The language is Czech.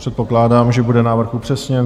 Předpokládám, že bude návrh upřesněn.